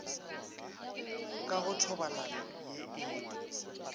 ka go thobalano ye e